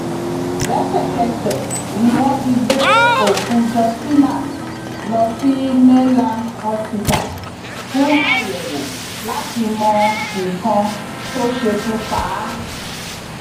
lẹsẹkẹsẹ ni wọn ti gbé òkú justina lọ sí mainland hospital fún àyẹwò láti mọ nǹkan tó ṣekú pa á